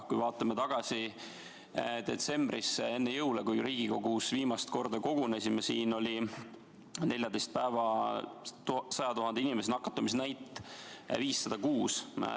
Kui vaatame tagasi detsembrisse enne jõule, kui me siin Riigikogus viimast korda kogunesime, siis tookord oli 14 päeva nakatumisnäitaja 100 000 inimese kohta 506.